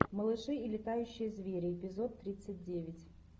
малыши и летающие звери эпизод тридцать девять